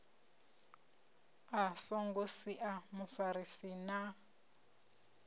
a songo sia mufarisi na